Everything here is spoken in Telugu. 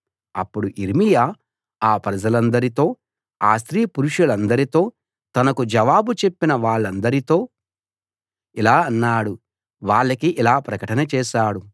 అప్పుడు యిర్మీయా ఆ ప్రజలందరితో ఆ స్త్రీ పురుషులందరితో తనకు జవాబు చెప్పిన వాళ్ళందరితో ఇలా అన్నాడు వాళ్ళకి ఇలా ప్రకటన చేశాడు